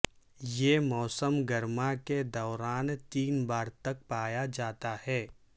یہ موسم گرما کے دوران تین بار تک پایا جاتا ہے